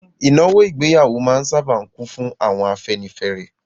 Ìnáwó ìgbéyàwó máa n sáábà kún fún àwọn afẹ́nifẹ́re